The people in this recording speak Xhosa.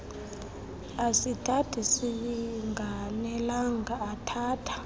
asithatha singanelanga athatha